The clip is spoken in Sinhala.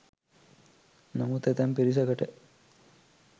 නමුත් ඇතැම් පිරිසකට